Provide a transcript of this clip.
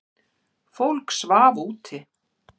Fólk svaf úti.